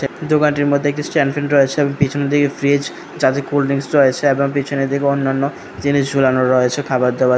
দোকানটির মধ্যে একটি স্ট্যান্ড ফ্যান রয়েছে পিছনে দিকে ফ্রিজ চারটে কোল্ড ড্রিংকস রয়েছে এবং পিছনে দিকে অন্যান্য জিনিস ঝুলানো রয়েছে খাবার দাবার।